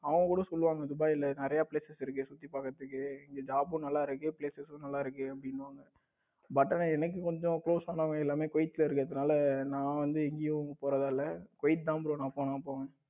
அவங்க கூட சொல்லுவாங்க துபாய்ல நிறைய places இருக்கு சுத்தி பாக்குறதுக்கு. இங்க job பும் நல்லா இருக்கு places நல்லா இருக்கு அப்படின்னு சொல்லுவாங்க but எனக்கு வந்து close ஆன எல்லாரும் குவைத்தில இருக்கிறதுனால நான் வந்து எங்கேயும் போறதா இல்ல. குவைத் தான் bro நான் போனா போவேன்.